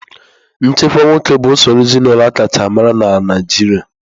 Nchịkwa nwoke bụ usoro ezinaụlọ aka chaa amara na Naịjirịa.